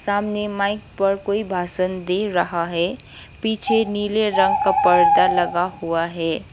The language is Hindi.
सामने माइक पर कोई भाषण दे रहा है पीछे नीले रंग का पर्दा लगा हुआ है।